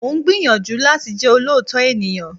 Mo ń gbìyànjú láti jẹ́ olóòótọ́ ènìyàn